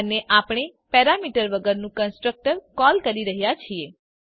અને આપણે પેરામીટર વગરનું કન્સ્ટ્રક્ટર કોલ કરી રહ્યા છીએ